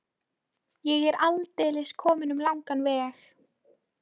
Ég er aldeilis kominn um langan veg.